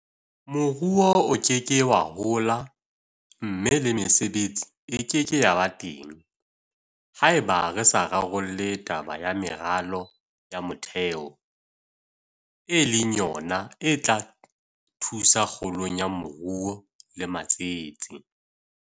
Moruo o ke ke wa hola mme le mesebetsi e ke ke ya ba teng haeba re sa rarolle taba ya meralo ya motheo e leng yona e tla thusa kgolong ya moruo le matsete.